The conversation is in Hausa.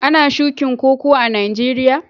Ana shukin Koko a'Nijeriya?